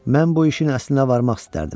mən bu işin əslinə varmaq istərdim.